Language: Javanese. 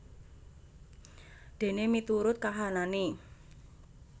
Dene miturut kahanane